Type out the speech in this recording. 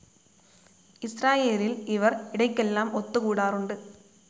ഇസ്രായേലിൽ ഇവർ ഇടയ്ക്കെല്ലാം ഒത്തുകൂടാറുണ്ട്.